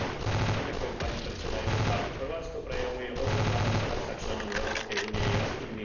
Chorvátsko prejavuje odhodlanosť stať sa členom Európskej únie jasnými pokrokmi v plnení kritérií.